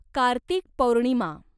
Kartik Purnima